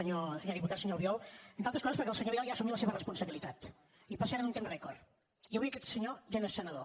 senyor diputat senyor albiol entre altres coses perquè el senyor vidal ja ha assumit la seva responsabilitat i per cert en un temps rècord i avui aquest senyor ja no és senador